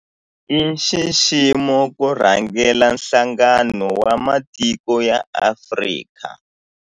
I nxiximo ku rhangela Nhlangano wa Matiko ya Afrika.